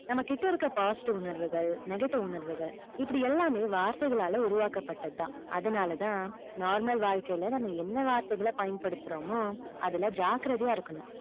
நம்மகிட்ட இருக்க positive உணர்வுகள் negative உணர்வுகள், இப்படி எல்லாமே வார்த்தைகளால உருவாக்கப்பட்டது தான். அதனால தான் normal வாழ்க்கையில நம்ம என்ன வார்த்தைகள பயன்படுத்துறோமோ, அதுல ஜாக்கிரதையா இருக்கணும்.